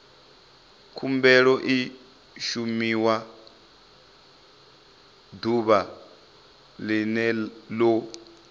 khumbelo i shumiwa ḓuvha ḽene ḽo